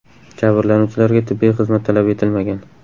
Jabrlanuvchilarga tibbiy xizmat talab etilmagan.